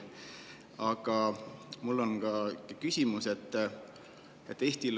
Aga mul on ka küsimus.